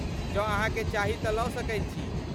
जँ अहाँके चाही तँ लऽ सकैत छी।